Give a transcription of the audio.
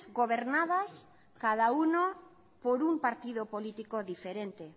gobernadas cada uno por un partido político diferente